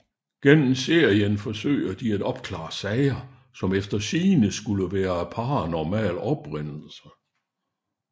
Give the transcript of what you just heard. Gennem serien forsøger de at opklare sager som efter sigende skulle være af paranormal oprindelse